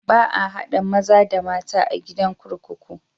Ba a haɗa maza da mata a gidan kurkuku.